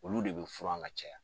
Olu de be furan ŋa caya.